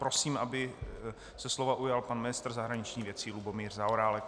Prosím, aby se slova ujal pan ministr zahraničních věcí Lubomír Zaorálek.